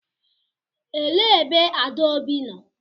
Elee ebe Adaobi nọ?